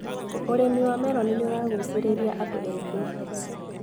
ũrĩmi wa meroni nĩũragucĩrĩria andũ ethĩ.